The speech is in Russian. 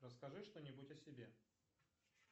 расскажи что нибудь о себе